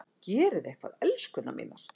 Gerið eitthvað, elskurnar mínar!